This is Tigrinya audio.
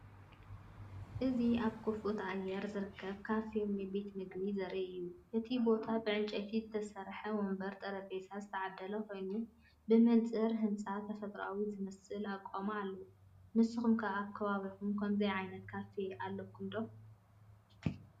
እዚ ኣብ ክፉት ኣየር ዝርከብ ካፌ ወይ ቤት መግቢ ዘርኢ እዩ። እቲ ቦታ ብዕንጨይቲ ዝተሰርሐ መንበርን ጠረጴዛን ዝተዓደለ ኮይኑ፡ ብመንጽር ህንጸት ተፈጥሮኣዊ ዝመስል ኣቃውማ ኣለዎ። ንስኩም ከ ኣብ ከባቢኩም ከምዚ ዓይነት ካፌ ኣለኩም ዶ?